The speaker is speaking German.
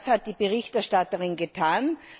Das hat die Berichterstatterin getan.